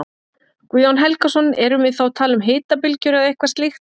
Guðjón Helgason: Erum við þá að tala um hitabylgjur eða eitthvað slíkt?